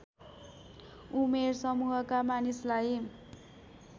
उमेर समूहका मानिसलाई